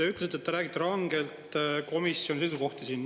Te ütlesite, et te räägite rangelt komisjoni seisukohti siin.